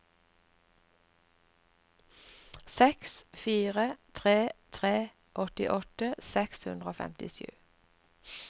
seks fire tre tre åttiåtte seks hundre og femtisju